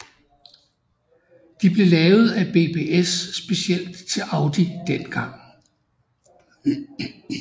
De blev lavet af BBS specielt til Audi dengang